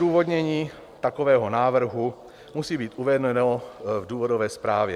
Odůvodnění takového návrhu musí být uvedeno v důvodové zprávě.